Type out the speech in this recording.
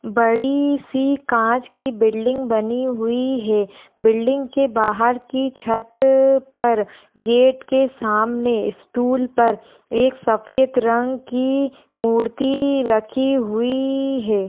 बड़ी सी काँच की बिल्डिंग बनी हुई है। बिल्डिंग के बाहर की छत पर गेट के सामने स्टूल पर एक सफ़ेद रंग की मूर्ति रखी हुई है।